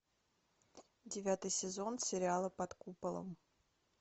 девятый сезон сериала под куполом